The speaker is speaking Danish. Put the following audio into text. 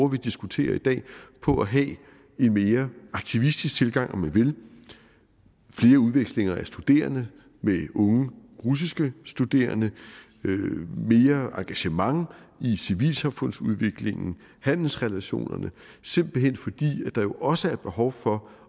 vi diskuterer i dag på at have en mere aktivistisk tilgang om man vil flere udvekslinger af studerende med unge russiske studerende mere engagement i civilsamfundsudviklingen handelsrelationerne simpelt hen fordi der jo også er behov for